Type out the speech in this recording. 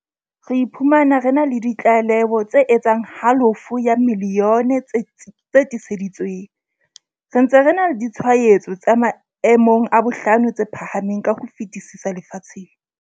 Re iphumana re na le di tlaleho tse etsang halofo ya milione tse tiiseditsweng, re ntse re na le ditshwaetso tse maemong a bohlano tse phahameng ka ho fetisisa lefatsheng.